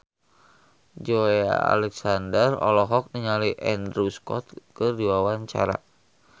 Joey Alexander olohok ningali Andrew Scott keur diwawancara